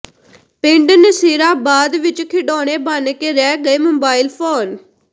ਪਿੰਡ ਨਸੀਰਾਬਾਦ ਵਿਚ ਖਿਡੌਣੇ ਬਣ ਕੇ ਰਹਿ ਗਏ ਮੋਬਾਈਲ ਫ਼ੋਨ